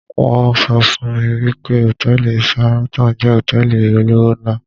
won so fun mi wi pe hòtẹ́ẹ̀lì Sahraton jẹ́ hotẹ́ẹ̀lì olówó ńlá